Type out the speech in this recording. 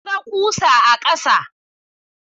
Na ga ƙusa a ƙasa.